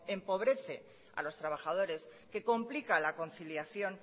empobrece a los trabajadores que complica la conciliación